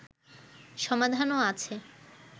সমাধানও আছে